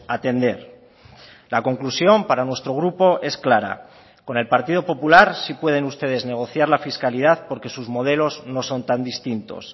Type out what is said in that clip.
atender la conclusión para nuestro grupo es clara con el partido popular sí pueden ustedes negociar la fiscalidad porque sus modelos no son tan distintos